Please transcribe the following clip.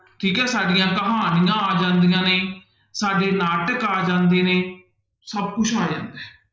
ਠੀਕ ਹੈ ਸਾਡੀਆਂ ਕਹਾਣੀਆਂ ਆ ਜਾਂਦੀਆਂ ਨੇ, ਸਾਡੇ ਨਾਟਕ ਆ ਜਾਂਦੇ ਨੇ ਸਭ ਕੁਛ ਆ ਜਾਂਦਾ ਹੈ।